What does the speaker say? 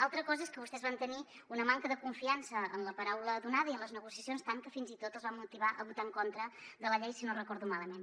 altra cosa és que vostès van tenir una manca de confiança en la paraula donada i en les negociacions tant que fins i tot els va motivar a votar en contra de la llei si no recordo malament